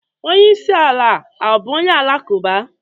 Onyeisi ala abụ onye ụka-alakụba?